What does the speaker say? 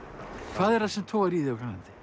hvað er það sem togar í þig